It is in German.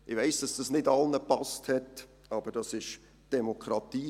Ich weiss, dass dies nicht allen gepasst hat, aber dies ist die Demokratie.